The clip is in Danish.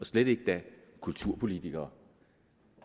slet ikke kulturpolitikere